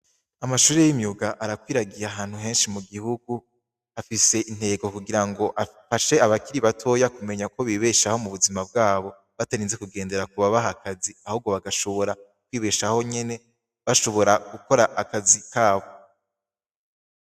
Amashure y'imyuga arakwiragiye ahantu henshi mu gihugu afise intego kugirango afashe abakiri bato uko bibeshaho mu buzima bwabo batarinze kugendera ku babaha akazi ahubwo bagashobora kwibeshaho nyene bashobora gukora akazi kabo.